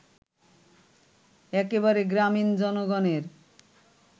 একেবারে গ্রামীণ জনগণের